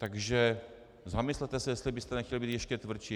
Takže zamyslete se, jestli byste nechtěli být ještě tvrdší.